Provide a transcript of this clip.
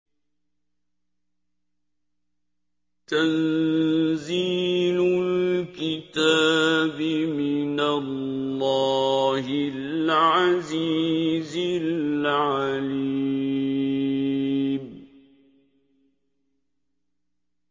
تَنزِيلُ الْكِتَابِ مِنَ اللَّهِ الْعَزِيزِ الْعَلِيمِ